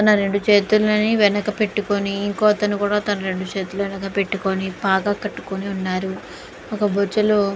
ఉన్నరెండు చేతుల్ని వెనక పెట్టుకొని ఇంకో అతను కూడా తన రెండు చేతుల్ని వెనక్కి పెట్టుకొని పాగా కట్టుకుని ఉన్నారు. ఒక బొచ్చలో--